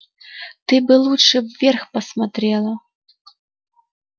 ты бы лучше вверх посмотрела